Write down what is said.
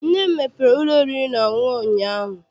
Nne m mepere ụlọ oriri na ọṅụṅụ ụnyaahụ.